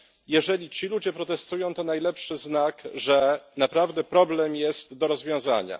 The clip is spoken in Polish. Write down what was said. jeżeli ci ludzie protestują, to najlepszy znak, że naprawdę jest problem do rozwiązania.